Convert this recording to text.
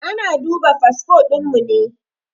Ana duba fasfo ɗin mu ne.